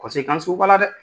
kɔnsekansiw b'ala dɛɛ